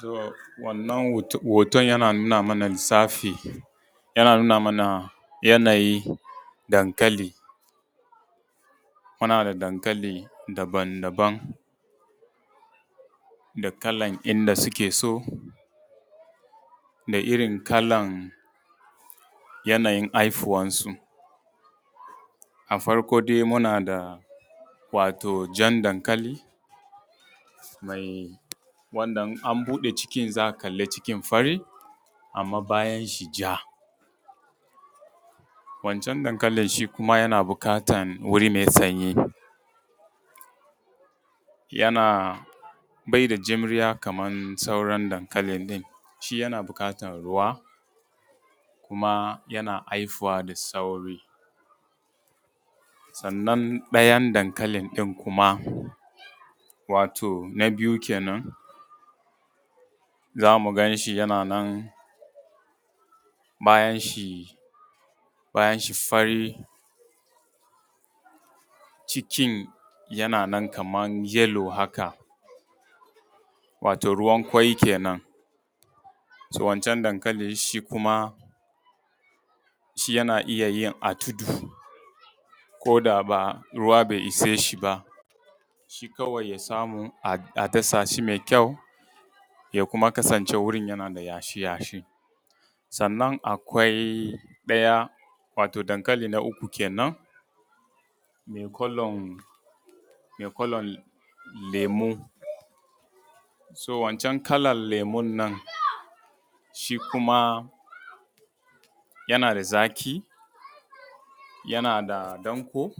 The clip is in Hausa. To wannan hoton yana nuna mana lissafi, yana nuna mana yanayin dankali, muna da dankali daban daban da kalan inda suke so, da irin kalan yanayin haihuwan su. A farko dai muna da jan dankali, wanda in an buɗe cikin za a kalli cikin fari, amma bayan shi ja. Wancan dankali shi kuma yana bukatan wuri mai sanyi, bai da juriya kamar sauran dankali ɗin. Shi yana buƙata ruwa, kuma yana haihuwa da sauri, sannan ɗayan dankali ɗin kuma wato na biyu kenan, za mu ganshi yana nan bayan shi fari cikin yana nan kamar yellow haka wato ruwan ƙwai kenan. To wancan dankali kuma shi yana iya yi a tudu ko da ruwa bai isheshe ba shi kawai ya samu a dasa shi mai kyau, ya kuma kasance wurin yana da yashi yashi, sannan akwai ɗaya wato dankali na uku kenan mai kalan lemu. To wancan kalan lemu nan shi kuma yana da zaƙi, yana da danƙo,